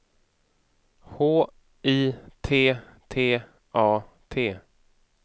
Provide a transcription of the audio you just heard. H I T T A T